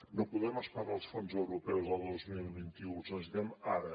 no podem esperar els fons europeus del dos mil vint u els necessitem ara